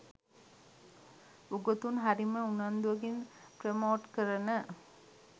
උගතුන් හරිම උනන්දුවකින් ප්‍රමෝට් කරන